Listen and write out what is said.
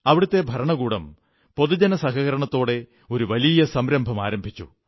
അവിടത്തെ ഭരണകൂടം പൊതുജന സഹകരണത്തോടെ ഒരു വലിയ സംരംഭം ആരംഭിച്ചു